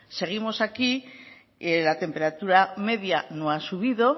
seguimos aquí la temperatura media no ha subido